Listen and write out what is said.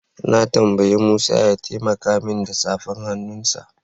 Na tambayi Musa ya taimaka min da safar hannunsa.